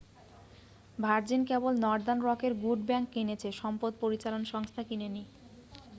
virgin কেবল Northern রকের good bank' কিনেছে সম্পদ পরিচালন সংস্থা কিনেনি